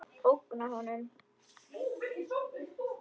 Ógna honum.